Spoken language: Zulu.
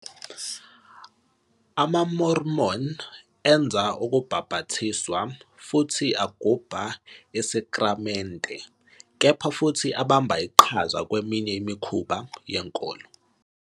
AmaMormon enza ukubhaphathizwa futhi agubha isakramente, kepha futhi abamba iqhaza kweminye imikhuba yenkolo.